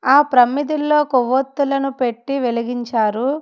ఆ ప్రమ్మిదిల్లో కొవ్వొత్తులను పెట్టి వెలిగించారు.